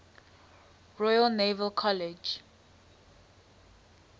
royal naval college